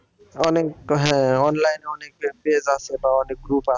অনেক হ্যাঁ online এ page আছে বা অনেক group আছে